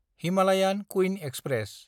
Himalayan Queen express